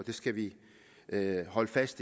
det